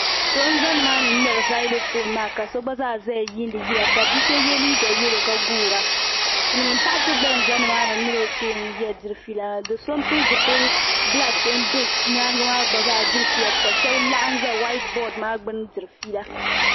So n za ni maa ni nŋmɛri zaloƒoon maa ka so gba zaa zaya yiindi yila ka biso yiɛ liiga yɛlo ka guura silimiin paɣa so gba zi ni maa ni o gba mini o kpɛɛ n diri feela maa doso n pili zipili blaki n bɛ yɛanga maa gba zaa diri feela maa ka shɛb laɣim za huaitbɔd maa gbuni n diri feela.